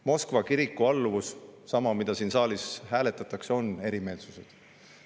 Moskva kiriku alluvuse puhul – sama, mida siin saalis hääletatakse – on erimeelsused.